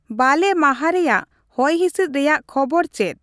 ᱵᱟᱞᱮ ᱢᱟᱦᱟ ᱨᱮᱭᱟᱜ ᱦᱚᱭᱦᱤᱥᱤᱫ ᱨᱮᱭᱟᱜ ᱠᱷᱚᱵᱚᱨ ᱪᱮᱫ ?